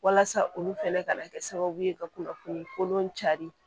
Walasa olu fɛnɛ ka na kɛ sababu ye ka kunnafoni kolon cari